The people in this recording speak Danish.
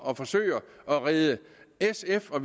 at forsøge at redde sf og